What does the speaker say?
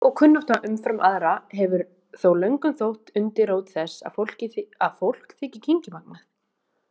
Þekking og kunnátta umfram aðra hefur þó löngum þótt undirrót þess að fólk þyki kynngimagnað.